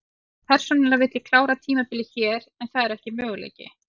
Persónulega vil ég klára tímabilið hér en það er ekki möguleiki.